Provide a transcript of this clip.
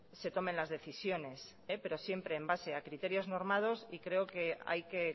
se tomen las decisiones pero siempre en base a criterios normados y creo que hay que